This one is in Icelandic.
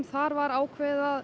þar var ákveðið að